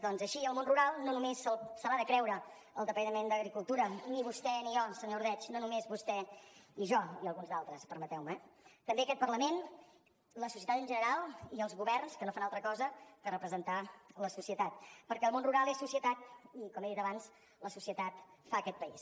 doncs així al món rural no només se l’ha de creure el departament d’agricultura ni vostè ni jo senyor ordeig no només vostè i jo i alguns d’altres permeteu me eh també aquest parlament la societat en general i els governs que no fan altra cosa que representar la societat perquè el món rural és societat i com he dit abans la societat fa aquest país